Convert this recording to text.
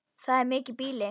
Það er mikið býli.